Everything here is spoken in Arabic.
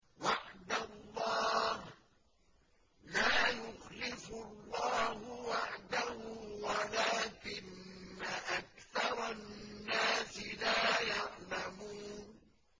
وَعْدَ اللَّهِ ۖ لَا يُخْلِفُ اللَّهُ وَعْدَهُ وَلَٰكِنَّ أَكْثَرَ النَّاسِ لَا يَعْلَمُونَ